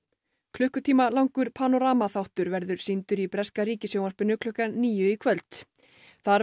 klukkutíma langur þáttur verður sýndur í breska ríkissjónvarpinu klukkan níu í kvöld þar